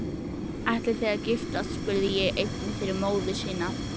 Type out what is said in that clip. Ætlið þið að giftast, spurði hann einnig fyrir móður sína.